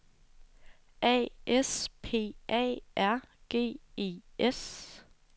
A S P A R G E S